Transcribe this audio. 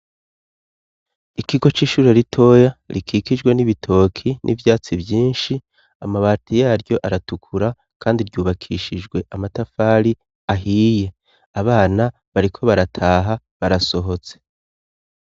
Ikigo c'ishure ritoya, rikikijwe n'ibitoke n'ivyatsi vyinshi. Amabati yaryo aratukura kandi ryubakishijwe amatafari ahiye. Abana bariko barataha, barasohotse.